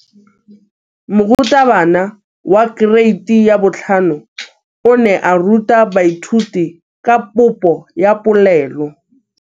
Moratabana wa kereiti ya 5 o ne a ruta baithuti ka popô ya polelô.